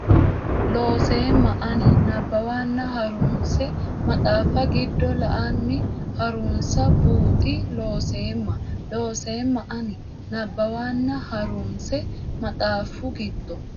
Looseemma ani nabbawanna ha runse maxaafu giddo la anni ha runsansa buuxi Looseemma Looseemma ani nabbawanna ha runse maxaafu giddo.